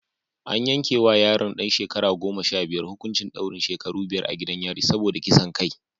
An yanke wa yaron ɗan shekara goma sha biyar hukuncin daurin shekaru biyar a gidan yari saboda kisan kai